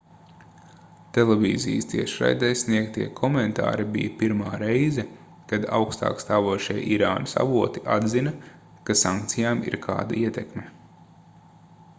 televīzijas tiešraidē sniegtie komentāri bija pirmā reize kad augstākstāvošie irānas avoti atzina ka sankcijām ir kāda ietekme